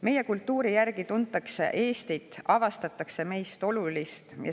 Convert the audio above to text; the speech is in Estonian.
Meie kultuuri järgi tuntakse Eestit ja avastatakse seda, mis on meis olulist.